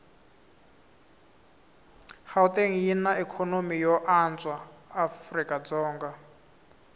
gauteng yinaikonomy yoanswa afrikadzonga